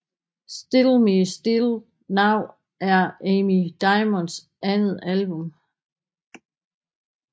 Still Me Still Now er Amy Diamonds andet album